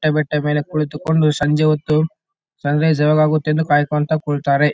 ಬೆಟ್ಟ ಮೇಲೆ ಕುಳಿತುಕೊಂಡು ಸಂಜೆ ಹೊತ್ತು ಸನ್ ರೈಸ್ ಯಾವಾಗ ಆಗುತ್ತೆ ಅಂತ ಕಾಯ್ಕೊಂಥ ಕುಳ್ತರೇ .